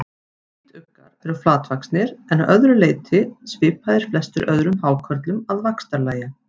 Hvítuggar eru flatvaxnir en að öðru leyti svipaðir flestum öðrum hákörlum að vaxtarlagi.